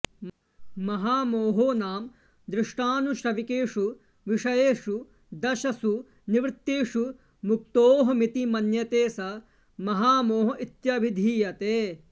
महामोहो नाम दृष्टानुश्रविकेषु विषयेषु दशसु निवृत्तेषु मुक्तोऽहमिति मन्यते स महामोह इत्यभिधीयते